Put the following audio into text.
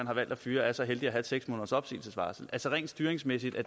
har valgt at fyre er så heldige at have seks måneders opsigelsesvarsel altså rent styringsmæssigt er